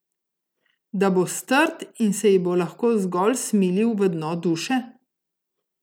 Da bo strt in se ji bo lahko zgolj smilil v dno duše?